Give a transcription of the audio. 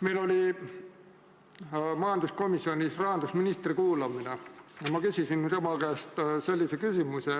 Meil oli majanduskomisjonis rahandusministri kuulamine ja ma küsisin tema käest sellise küsimuse: